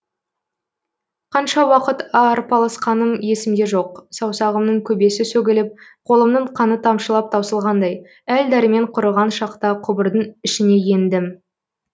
қанша уақыт арпалысқаным есімде жоқ саусағымның көбесі сөгіліп қолымның қаны тамшылап таусылғандай әл дәрмен құрыған шақта құбырдың ішіне ендім